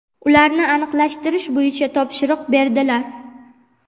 ularni aniqlashtirish bo‘yicha topshiriq berdilar.